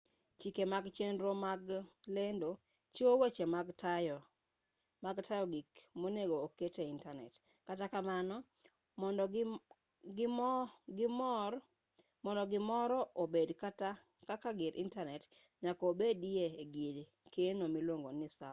chike mag chenro mag lendo chiwo weche mag tayo gik monego oketi e intanet kata kamano mondo gimoro obed kaka gir intanet nyaka obedi ei gir keno miluongo ni sava